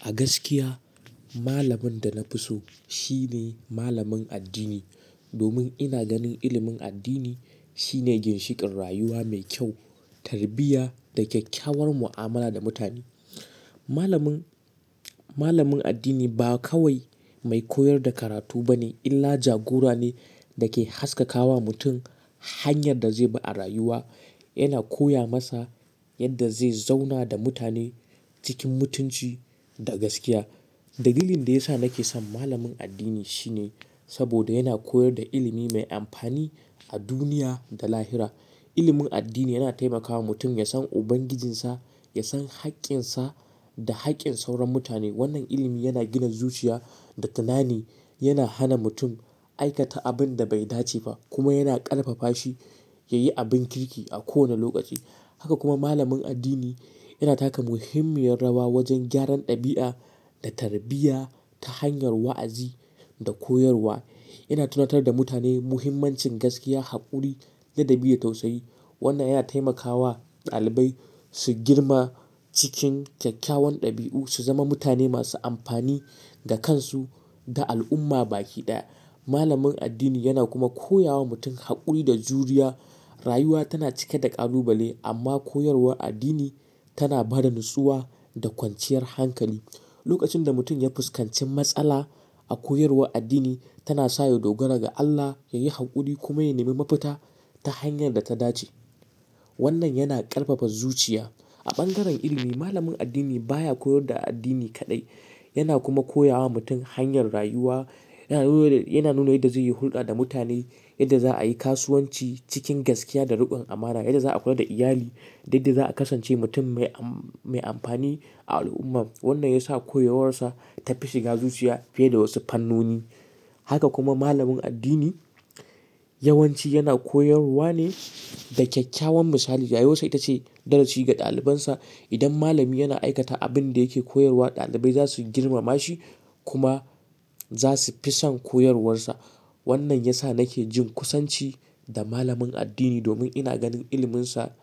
A gaskiya malamin da na fi so shine malamin addini domin ina ganin ilimin addini shine ginshiƙin rayuwa mai kyau, tarbiyya da kyakkyawar mu'amala da mutane. Malamin, malamin addini ba kawai mai koyar da karatu ba ne illa jagora ne da ke haskaka wa mutum hanyar da zai bi a rayuwa. Yana koya masa yadda zai zauna da mutane cikin mutunci da gaskiya. Dalilin da ya sa nake son malamin addini shine saboda yana koyar da ilimi mai amfani a duniya da lahira. Ilimin addini yana taimakawa mutum ya san Ubangijinsa, ya san haƙƙinsa da haƙƙin sauran mutane. Wannan ilimi yana gina zuciya da tunani, yana hana mutum aikata abin da bai dace ba kuma yana ƙarfafa shi ya yi abin kirki a kowane lokaci. Haka kuma malamin addini yana taka muhimmiyar rawa wajen gyaran ɗabi'a da tarbiyya ta hanyar wa'azi da koyarwa. Yana tunatar da mutane muhimmancin gaskiya, haƙuri, ladabi da tausayi. Wannan yana taimakawa ɗalibai su girma cikin kyakkyawan ɗabi'u, su zama mutane masu amfani ga kansu da al'umma baki ɗaya. Malamin addini yana kuma koya wa mutum haƙuri da juriya. Rayuwa tana cike da ƙalubale amma koyarwar addini tana ba da nutsuwa da kwanciyar hankali. Lokacin da mutum ya fuskanci matsala, a koyarwar addini tana saye dogara ga Allah, ya yi haƙuri kuma ya nemi mafita ta hanyar da ta dace. Wannan yana ƙarfafa zuciya. A bangaren ilimi, malamin addini baya koyar da addini kaɗai, yana kuma koya wa mutum hanyar rayuwa. Yana nuna yadda zai yi hulɗa da mutane, yadda za'a yi kasuwanci cikin gaskiya da riƙon amana, yadda za'a kula da iyali da yadda za'a kasance mutum mai amfani a al'umma. Wannan ya sa koyarwarsa ta fi shiga zuciya fiye da wasu fannoni. Haka kuma malamin addini yawanci yana koyarwa ne da kyakkyawan misali. Rayuwarsa ita ce darasi ga ɗalibansa. Idan malami yana aikata abin da yake koyarwa, ɗalibai za su girmama shi kuma za su fi son koyarwarsa. Wannan ya sa nake jin kusanci da malamin addini domin ina ganin iliminsa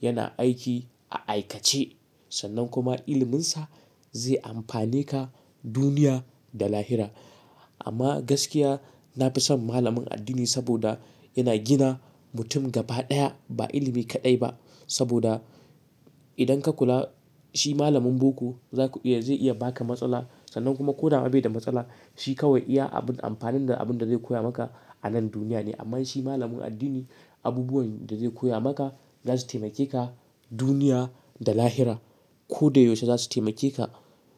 yana aiki a aikace sannan kuma iliminsa zai amfane ka duniya da lahira. Amma gaskiya na fi son malamin addini saboda yana gina mutum gaba ɗaya ba ilimi kaɗai ba saboda idan ka kula shi malamin boko zaku iya zai iya baka matsala sannan kuma ko da ba da matsala shi kawai iya abun amfanin da abin da zai koya maka a nan duniya ne. Amma shi malamin addini abubuwan da zai koya maka za su taimake ka duniya da lahira. Ko da yaushe za su taimake ka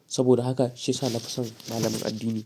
saboda haka shi ya sa na fi son malamin addini.